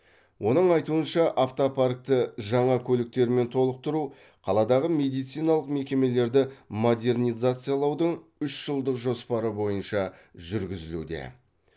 оның айтуынша автопаркті жаңа көліктермен толықтыру қаладағы медициналық мекемелерді модернизациялаудың үш жылдық жоспары бойынша жүргізілуде